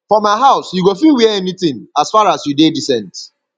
for my house you go fit wear anything as faras you dey decent